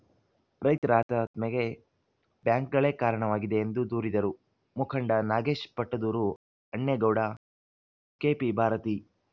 ರೈತರ ಆತ್ಮಹತ್ಯೆಗೆ ಬ್ಯಾಂಕ್‌ಗಳೇ ಕಾರಣವಾಗಿದೆ ಎಂದು ದೂರಿದರು ಮುಖಂಡ ನಾಗೇಶ್‌ ಪಟ್ಟದೂರು ಅಣ್ಣೇಗೌಡ ಕೆಪಿಭಾರತೀ